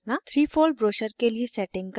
* 3fold brochure के लिए settings करना